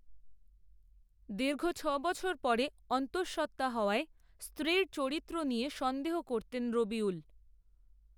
দীর্ঘ ছবছর পরে অন্তসঃত্ত্বা হওয়ায়, স্ত্রীর চরিত্র নিয়ে সন্দেহ করতেন রবিউল